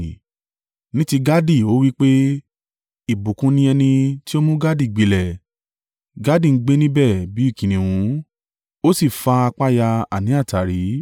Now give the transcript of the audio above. Ní ti Gadi ó wí pé, “Ìbùkún ni ẹni tí ó mú Gadi gbilẹ̀! Gadi ń gbé níbẹ̀ bí kìnnìún, ó sì fa apá ya, àní àtàrí.